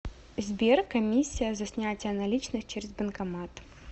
сбер комиссия за снятие наличных через банкомат